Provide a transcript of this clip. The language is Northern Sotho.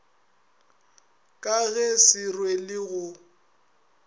ka ge se rwele go